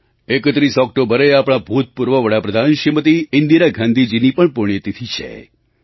31 ઑક્ટોબરે આપણાં ભૂતપૂર્વ વડાપ્રધાન શ્રીમતી ઈન્દિરા ગાંધીજીની પણ પુણ્યતિથિ છે